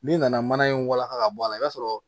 N'i nana mana in walaka ka bɔ a la i b'a sɔrɔ